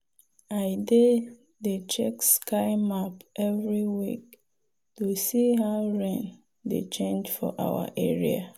i dey dey check sky map every week to see how rain dey change for our area.